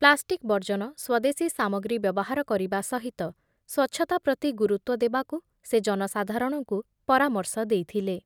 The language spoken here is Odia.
ପ୍ଲାଷ୍ଟିକ୍‌ ବର୍ଜନ, ସ୍ୱଦେଶୀ ସାମଗ୍ରୀ ବ୍ୟବହାର କରିବା ସହିତ ସ୍ବଚ୍ଛତା ପ୍ରତି ଗୁରୁତ୍ବ ଦେବାକୁ ସେ ଜନସାଧାରଣଙ୍କୁ ପରାମର୍ଶ ଦେଇଥିଲେ ।